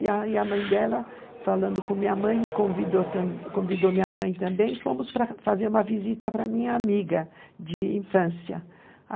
E aí a mãe dela, falando com minha mãe, me convidou também, convidou minha mãe também, fomos para fazer uma visita para minha amiga de infância.